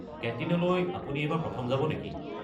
কেণ্টিনলৈ আপুনি এইবাৰ প্ৰথম যাব নেকি?